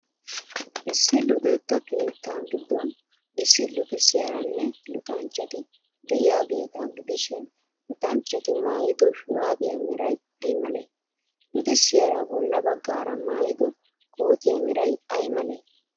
Issi luxetta keettaa giddon issi luxissiyaaranne luxanchchati de'iyaageeta gidishin, luxanchchti maayido shuraabiyaa meray ay malee? Luxissiyaara bolla baggaara maayido kootiyaa meray ay malee?